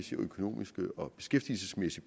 økonomiske og beskæftigelsesmæssige